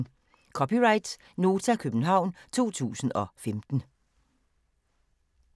(c) Nota, København 2015